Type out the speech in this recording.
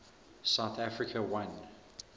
south africa won